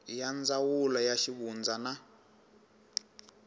ya ndzawulo ya xivundza na